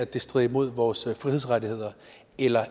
det strider imod vores frihedsrettigheder eller